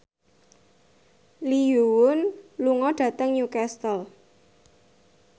Lee Yo Won lunga dhateng Newcastle